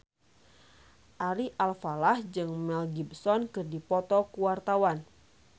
Ari Alfalah jeung Mel Gibson keur dipoto ku wartawan